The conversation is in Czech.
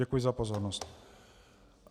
Děkuji za pozornost.